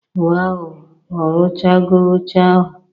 Waw! Ọ ruchago oche ahụ